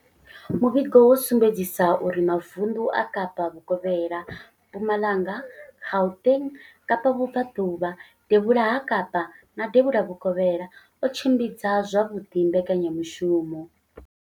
Muvhigo wo sumbedzisa uri mavundu a Kapa Vhukovhela, Mpumalanga, Gauteng, Kapa Vhubva ḓuvha, Devhula ha Kapa na Devhula Vhukovhela o tshimbidza zwavhuḓi mbekanya mushumo.